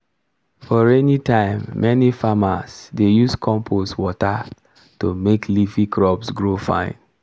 for rainy time many farmers dey use compost water to make leafy crops grow fine.